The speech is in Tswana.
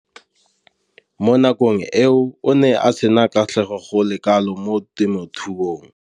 Mo nakong eo o ne a sena kgatlhego go le kalo mo temothuong.